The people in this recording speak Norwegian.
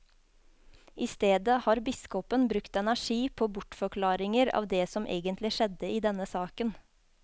I stedet har biskopen brukt energi på bortforklaringer av det som egentlig skjedde i denne saken.